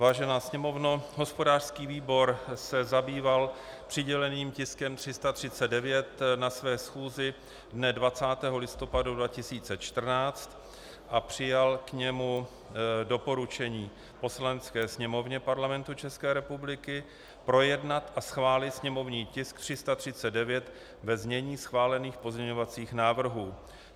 Vážená Sněmovno, hospodářský výbor se zabýval přiděleným tiskem 339 na své schůzi dne 20. listopadu 2014 a přijal k němu doporučení Poslanecké sněmovně Parlamentu České republiky projednat a schválit sněmovní tisk 339 ve znění schválených pozměňovacích návrhů.